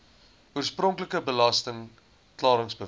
oorspronklike belasting klaringsbewys